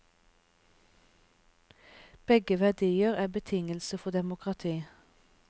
Begge verdier er betingelse for demokrati.